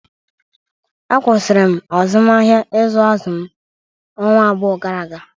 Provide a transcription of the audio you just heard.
A kwụsịrị m azụmahịa ịzụ azụ m ọnwa abụọ gara aga